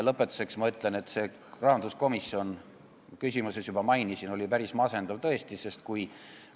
Lõpetuseks ma ütlen, et nagu ma oma küsimuses juba mainisin, rahanduskomisjoni istung oli tõesti päris masendav.